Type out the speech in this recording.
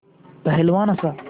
पहलवान हँसा